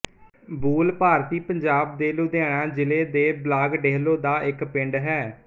ਬੂਲ ਭਾਰਤੀ ਪੰਜਾਬ ਦੇ ਲੁਧਿਆਣਾ ਜ਼ਿਲ੍ਹੇ ਦੇ ਬਲਾਕ ਡੇਹਲੋਂ ਦਾ ਇੱਕ ਪਿੰਡ ਹੈ